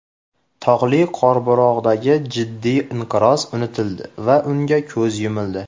Tog‘li Qorabog‘dagi jiddiy inqiroz unutildi va unga ko‘z yumildi.